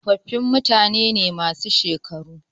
Tsofaffi mutane ne masu shekaru.